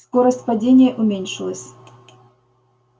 скорость падения уменьшилась